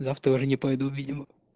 завтра уже не пойду видимо